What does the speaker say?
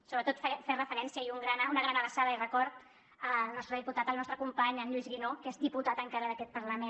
sobretot fer referència i una gran abraçada i record al nostre diputat al nostre company a en lluís guinó que és diputat encara d’aquest parlament